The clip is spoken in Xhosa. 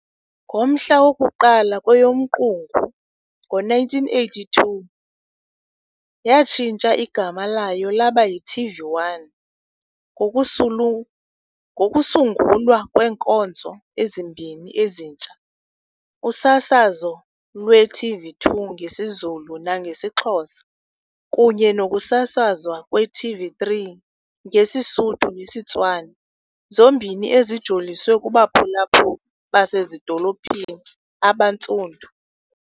Ngomhla woku-1 kweyoMqungu ngo-1982, yatshintsha igama layo laba yi-TV1, ngokusungulwa kweenkonzo ezimbini ezintsha - usasazo lwe-TV2 ngesiZulu nangesiXhosa kunye nokusasazwa kwe-TV3 ngesiSuthu nesiTswana, zombini ezijoliswe kubaphulaphuli basezidolophini abaNtsundu.